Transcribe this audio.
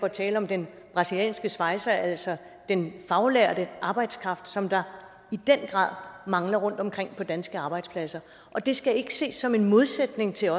at tale om den brasilianske svejser altså den faglærte arbejdskraft som der i den grad mangler rundtomkring på danske arbejdspladser og det skal ikke ses som en modsætning til